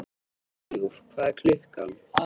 Hugljúf, hvað er klukkan?